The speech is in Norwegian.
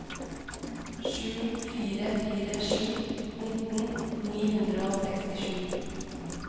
sju fire fire sju nitten ni hundre og sekstisju